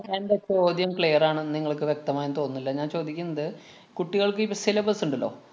എന്‍റെ ചോദ്യം clear ആണെന്ന് നിങ്ങള്‍ക്ക് വ്യക്തമായെന്നു തോന്നുന്നില്ല. ഞാന്‍ ചോദിക്കുന്നത് കുട്ടികള്‍ക്ക് ഇപ്പ syllabus ഇണ്ടല്ലോ